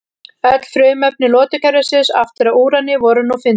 Öll frumefni lotukerfisins aftur að úrani voru nú fundin.